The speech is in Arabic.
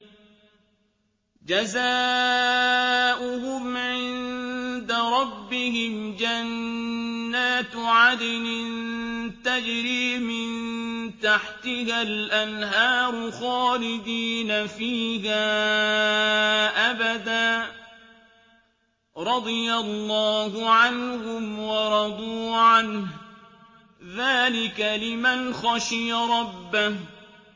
جَزَاؤُهُمْ عِندَ رَبِّهِمْ جَنَّاتُ عَدْنٍ تَجْرِي مِن تَحْتِهَا الْأَنْهَارُ خَالِدِينَ فِيهَا أَبَدًا ۖ رَّضِيَ اللَّهُ عَنْهُمْ وَرَضُوا عَنْهُ ۚ ذَٰلِكَ لِمَنْ خَشِيَ رَبَّهُ